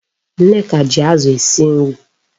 Nneka ji Azu esi nri